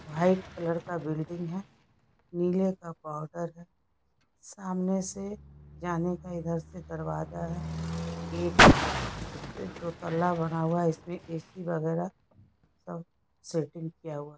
White colour का building है नीले का पाउडर है सामने से जाने का इधर से दरवाज़ा है गेट है इसपे दो तल्ला बना हुआ है इसमें ए.सी वगेरा सब सेटिंग किया हुआ।